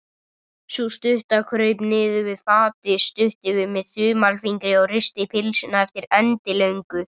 Sú stutta kraup niður við fatið, studdi við með þumalfingri og risti pylsuna eftir endilöngu.